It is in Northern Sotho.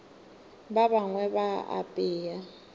ba bangwe ba a apea